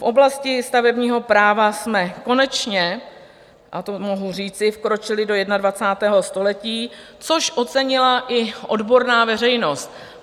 V oblasti stavebního práva jsme konečně, a to mohu říci, vkročili do 21. století, což ocenila i odborná veřejnost.